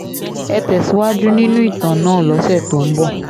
ẹ tẹ̀síwájú nínú ìtàn náà lọ́sẹ̀ tó ń bọ̀